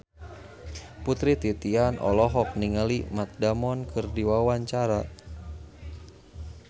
Putri Titian olohok ningali Matt Damon keur diwawancara